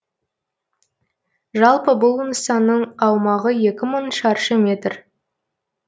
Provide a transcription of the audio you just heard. жалпы бұл нысанның аумағы екі мың шаршы метр